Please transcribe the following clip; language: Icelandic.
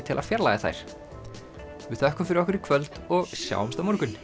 til að fjarlægja þær við þökkum fyrir okkur í kvöld og sjáumst á morgun